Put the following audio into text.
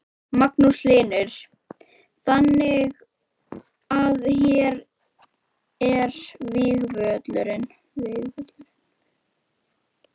Magnús Hlynur: Þannig að hér var vígvöllurinn?